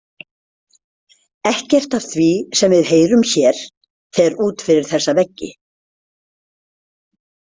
Ekkert af því sem við heyrum hér fer út fyrir þessa veggi.